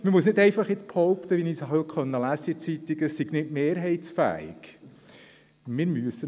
Man muss jetzt nicht einfach behaupten, es sei nicht mehrheitsfähig, wie ich es heute in der Zeitung habe lesen können.